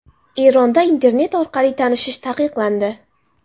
Eronda internet orqali tanishish taqiqlandi.